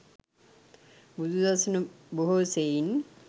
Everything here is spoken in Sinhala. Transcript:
බුදු සසුන බොහෝ සෙයින්